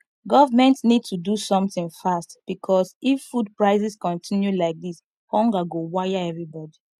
government need to do something fast because if food prices continue like this hunger go wire everybody